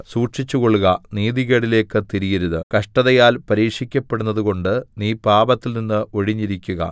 സൂക്ഷിച്ചുകൊള്ളുക നീതികേടിലേക്ക് തിരിയരുത് കഷ്ടതയാൽ പരീക്ഷിക്കപ്പെടുന്നതുകൊണ്ട് നീ പാപത്തിൽനിന്ന് ഒഴിഞ്ഞിരിക്കുക